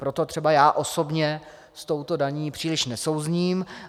Proto třeba já osobně s touto daní příliš nesouzním.